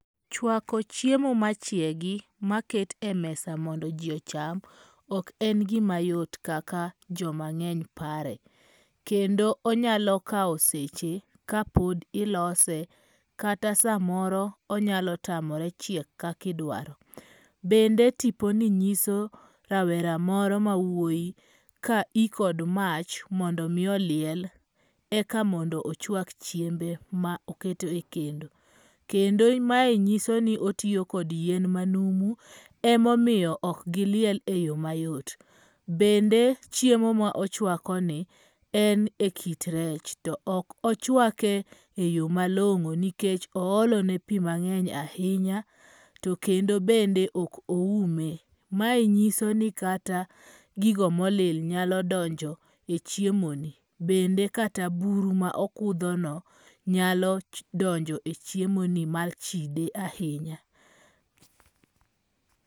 Chwako chiemo ma chiegi ma ket e mesa mondo ji ocham ok en gima yot kaka joma ng'eny pare. Kendo onyalo kawo seche ka pod ilose kata sa moro onyalo tamore chiek kakidwaro. Bende tipo ni nyiso rawera moro ma wuoi ka i kod mach mondo mi oliel eka mondo ochwak chiembe ma oketo e kendo. Kendo mae nyiso ni otiyo kod yien ma numu e momiyo ok giliel e yo mayot. Bende chiemo mo chwako ni, en e kit rech. To ok ochwake e yo malong'o nikech oolo ne pi mang'eny ahinya to kendo bende ok oume. Mae nyiso ni kata gigo molil nyalo donjo e chiemo ni. Bende kata buru ma okudho no nyalo donjo e chiemo ni ma chide ahinya.